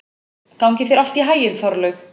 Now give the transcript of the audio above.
Gangi þér allt í haginn, Þorlaug.